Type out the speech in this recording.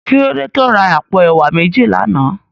Kilódé tó rá àpó èwá méji làná?